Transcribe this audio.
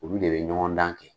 Olu de bɛ ɲɔgɔn dan kɛ.